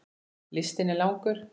Listinn er langur.